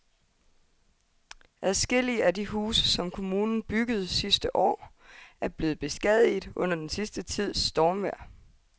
Adskillige af de huse, som kommunen byggede sidste år, er blevet beskadiget under den sidste tids stormvejr.